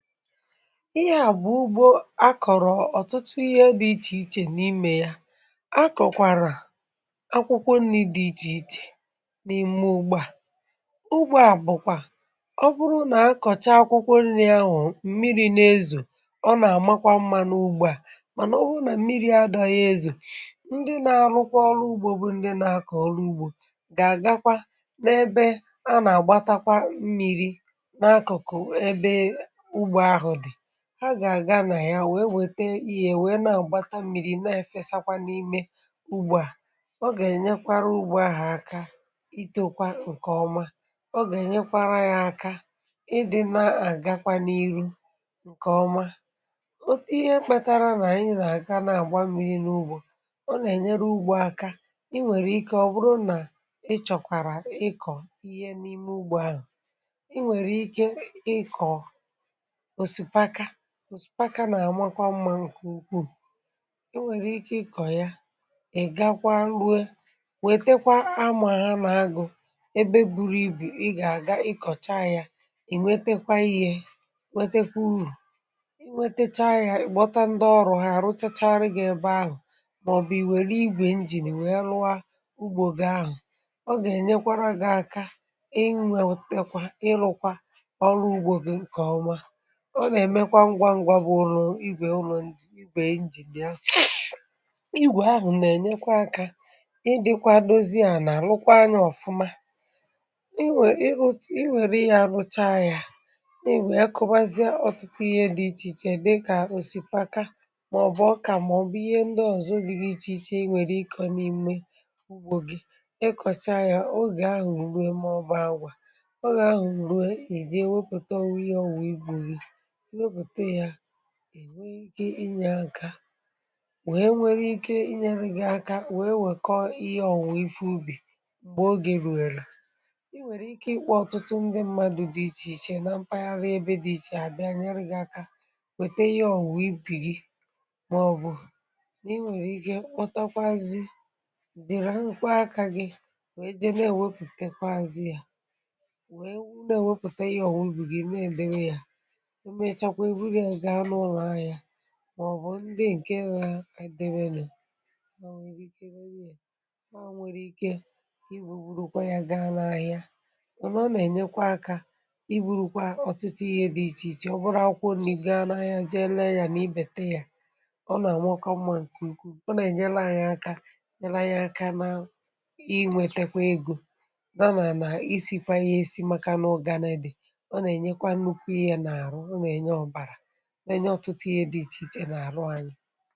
ihe à bụ̀ ugbȯ akọ̀rọ̀ ọ̀tụtụ ihe dị̇ ichè ichè n’imė ya akọ̀kwàrà akwụkwọ nri̇ dị ichè ichè n’ime ugbȧ à um ugbȯ à bụ̀kwà ọ bụrụ nà akọ̀cha akwụkwọ nri̇ ahụ̀ mmiri̇ nà-ezò ọ nà-àmakwa mmȧ n’ugbȧ à um mànà o hụ nà mmiri̇ adȧghị ezò ndị na-arụkwa ọrụ ugbȯ bụ ndị nȧ-akọ̀ ọrụ ugbȯ gà-àgakwa n’ebe a um nà-àgbatakwa mmiri̇ ha gà-àga nà ya wèe wète ihe wète n’agbata mmiri̇ um na-èfesakwa n’ime ugbȯ à o gà-ènyekwara ugbo à hà aka itokwa ǹkèọma um o gà-ènyekwara ya aka ịdị̇ na-àgakwa n’iru ǹkèọma ihe mkpatara nà-ànyi na-àga na-àgba mmiri n’ugbȯ ọ nà-ènyere ugbȯ aka hmm i nwèrè ike ọ̀ bụrụ nà ị chọ̀kwàrà ịkọ̀ ihe n’ime ugbȯ ahụ̀ i nwèrè ike ịkọ̀ ǹsùpaka… UM… nà àmakwa mmȧ ǹkè ukwuù e nwèrè ike ị kọ̀ ya ị̀ gakwa nruo nwètekwa amà ha hmm nà agụ̇ ebe buru ibì ị gà ị kọ̀cha ya ị̀ nwetekwa ihė um nwetekwa urù i nwetechaa ya ị̀ gbọta ndị ọrụ̇ ha àrụtachagharị gà ịbà ahụ̀ hmm màọ̀bụ̀ ìwèrè igwè injìn èwèe rụwa ugbȯgȯ ahụ̀ ọ gà-ènyekwara gà aka um i nwètekwa ị lụkwa ọrụ ugbȯ gị ǹkè ọma… ọ nà-èmekwa ngwa ngwa bụ̀ ụlọ̀ igwè ụlọ̀ ǹj hmm ị gbèe ǹjìdia iigwè ahụ̀ nà-ènyekwa akȧ ịdị̇kwa dozie à nà àlụkwa anyȧ ọ̀fụma um i nwèrè ị hụ i nwèrè ị yȧ rụcha yȧ nà ìnwè ekobazịa ọ̀tụtụ ihe dị ichè ichè hmm dịkà òsìpaka mà ọ̀ bụ̀ ọkà mà ọ̀ bụ̀ ihe ndị ọ̀zọ gị gị iche iche um i nwèrè ịkọ̇ n’ime ugbȯ gị ịkọ̀cha yȧ ogè ahụ̀ ùrue mọbụ ȧgwȧ ogè ahụ̀ ìjì ewepụ̀ta ihe ọwụ̀ igwè um gì enwe ike inyė aka wee nwere ike inyė rijere aka wee nwèkọ ihe ọ̀wụ̀ ife ubì m̀gbè oge ruwelu um i nwèrè ike ịkpọ ọ̀tụtụ ndị mmadụ̇ dị ichè ichè na mpaghara ebe dị ichè àbịa nyere gị̇ aka wète ihe ọ̀wụ̀ ibì gi hmm màọbụ̀ na i nwèrè ike kpọtakwazị jìrì akȧ gi̇ wee je na-ewepùtekwa azị ya màọbụ ndị ǹke na-àdịwė nà o nwèrè ike um nwee ike i bùbùrùkwa ya gaa n’ahịa ọ̀ nọ nà ẹ̀nyẹkwa akȧ… i burukwa ọ̀tụtụ ihė dị ichè ichè hmm ọ̀ bụrụ ọkwụ onye gaa n’ahịa jee ẹlẹ yȧ nà ibètẹ yȧ ọ nà ànwakọ mma ǹkùǹkù um ọ nà ẹ̀nyẹlẹ anyị aka nyẹlẹ anyị aka nà i nwẹ̇tekwa egȯ dȧnà nà isi̇ hmm kwa ihe esi maka nà ọ ga na-edè hmm ọ nà ẹ̀nyẹkwa nukwu ihe ya n’àrụ lee ọtụtụ ihe dị iche iche na-arụ anyi um